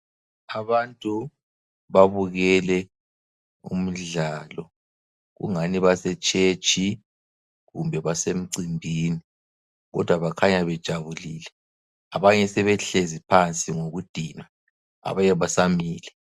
Abantu babukele umdlalo kungani basetshetshi kumbe basemcimbini kodwa bakhanya bejabulile abanye sebehlezi phansi ngokudinwa abanye basamile.